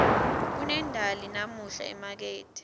kunendali namuhla emakethe